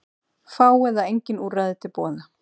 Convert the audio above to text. Fá eða engin úrræði til boða